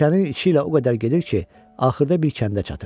Meşənin içi ilə o qədər gedir ki, axırda bir kəndə çatır.